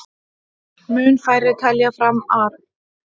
Mun færri telja fram arð